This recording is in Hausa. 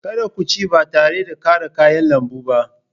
Kada ku ci ba tare da ƙara kayan lambu ba!